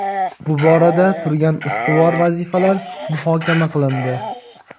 bu borada turgan ustuvor vazifalar muhokama qilindi.